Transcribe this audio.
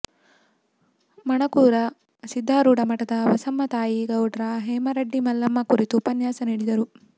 ಮಣಕೂರ ಸಿದ್ಧಾರೂಢ ಮಠದ ಬಸಮ್ಮತಾಯಿ ಗೌಡ್ರ ಹೇಮರಡ್ಡಿ ಮಲ್ಲಮ್ಮ ಕುರಿತು ಉಪನ್ಯಾಸ ನೀಡಿದರು